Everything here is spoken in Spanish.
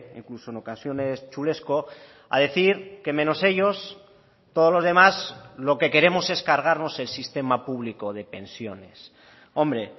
incluso en ocasiones chulesco a decir que menos ellos todos los demás lo que queremos es cargarnos el sistema público de pensiones hombre